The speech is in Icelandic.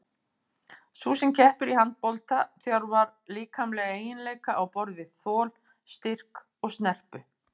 Sú sem keppir í handbolta þjálfar líkamlega eiginleika á borð við þol, styrk og snerpu.